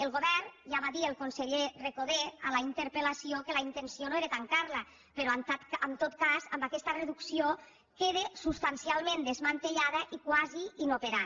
del govern ja va dir el conseller recoder a la interpel·lació que la intenció no era tancar la però en tot cas amb aquesta reducció queda substancialment desmantellada i quasi inoperant